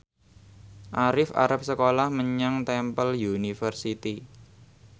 Arif arep sekolah menyang Temple University